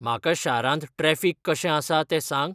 म्हाका शारांत ट्रॅफिक कशें आसा तें सांग?